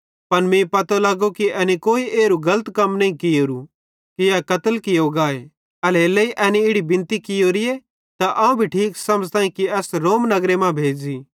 पन मीं पतो लगो कि एनी कोई एरू गलत कम नईं कियेरू कि ए कत्ल कियो गाए एल्हेरेलेइ एनी इड़ी बिनती कियोरीए त अवं ठीक समझ़तां कि एस रोम नगरे मां भेज़ी